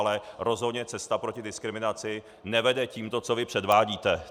Ale rozhodně cesta proti diskriminaci nevede tímto, co vy předvádíte.